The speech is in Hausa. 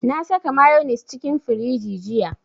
Na saka mayonnaise cikin firiji jiya